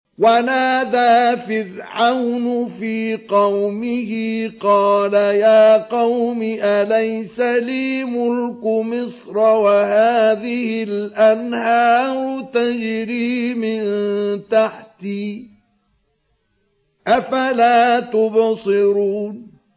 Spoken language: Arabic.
وَنَادَىٰ فِرْعَوْنُ فِي قَوْمِهِ قَالَ يَا قَوْمِ أَلَيْسَ لِي مُلْكُ مِصْرَ وَهَٰذِهِ الْأَنْهَارُ تَجْرِي مِن تَحْتِي ۖ أَفَلَا تُبْصِرُونَ